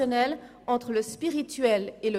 Der Antrag ist unnötig.